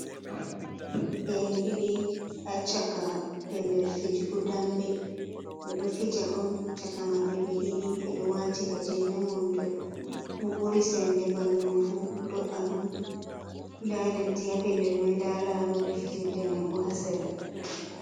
Dereke’en ɗiɗi ha caka pellel fijugo dambe. ɓeɗo fija on caka maɓɓe ɓe ɗiɗi ɓeɗo wati gajeren wondo mo ɓuri sembe ɓandu fu do’a ɗum, nda leddi ya pellel mai nda laroɓe fijirde mai bo hasera.